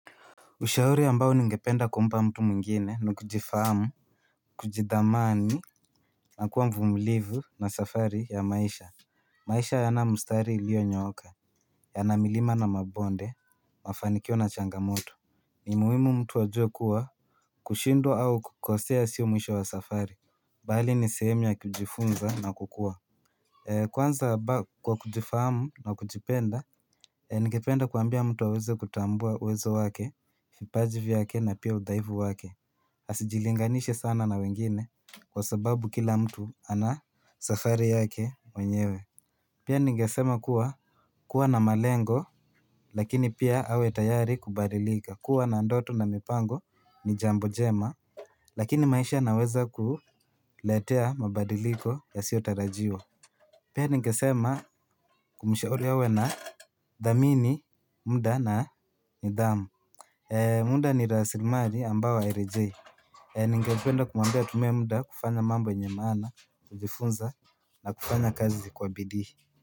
Ushauri ambao ningependa kumpa mtu mwingine nukujifahamu Kujidhamani na kuwa mvumulivu na safari ya maisha maisha hayana mstari ilio nyooka. Yana milima na mabonde mafanikio na changamoto ni muhimu mtu ajue kuwa kushindwa au kukosea sio mwisho wa safari Bali ni sehemu ya kujifunza na kukuwa Kwanza kwa kujifahamu na kujipenda E ningependa kuambia mtu aweze kutambua uwezo wake, vipaji vyake na pia uthaifu wake asijilinganishe sana na wengine kwa sababu kila mtu ana safari yake mwenyewe Pia ningesema kuwa kuwa na malengo lakini pia awe tayari kubadilika kuwa na ndoto na mipango ni jambo jema lakini maisha yanaweza kuletea mabadiliko yasiotarajiwa Pia ningesema kumshauri awe na thamini, muda na nidhamu muda ni rasimari ambayo hairejei Ningependa kumwambia atumie muda kufanya mambo yenye maana, kujifunza na kufanya kazi kwa bidii.